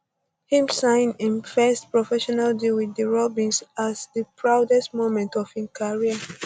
im sign im im um first professional deal wit um di robins as di proudest moment of im career